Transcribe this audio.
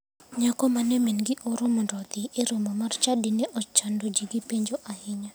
Nyako mane mingi ooro mondo odhine e romo mar chadi ne ochado ji gi penjo ahinya.